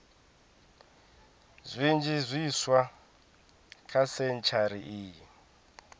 zwinzhi zwiswa kha sentshari iyi